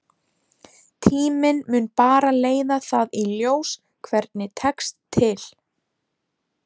Tíminn mun bara leiða það í ljós hvernig tekst til.